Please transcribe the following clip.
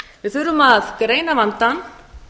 við þurfum að greina vandann